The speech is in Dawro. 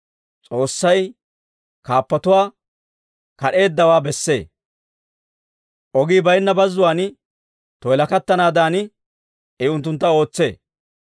S'oossay kaappotuwaa kad'eeddawaa bessee; ogii bayinna bazzuwaan toyilakattanaadan I unttuntta ootsee.